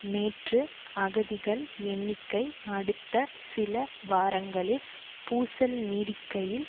நேற்று அகதிகள் எண்ணிக்கை அடுத்த சில வாரங்களில் பூசல் நீடிக்கையில்